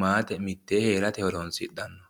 maate mitteenni heerate horonsidhanno.